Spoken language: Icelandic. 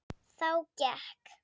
Þá gekk